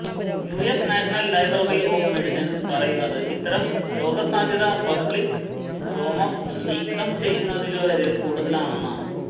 US National Library of Medicine പറയുന്നത് ഇത്തരം രോഗസാധ്യത പബ്ലിക് രോമം നീക്കം ചെയ്യുന്നവരില് കൂടുതലാണെന്നതാണ്